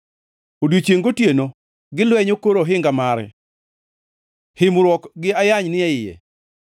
Odiechiengʼ gotieno gilwenyo kor ohinga mare; himruok gi ayany ni e iye.